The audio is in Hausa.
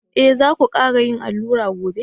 Eh za ku kara yin allura gobe.